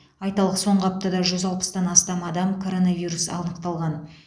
айталық соңғы аптада жүз алпыстан астам адам коронавирус анықталған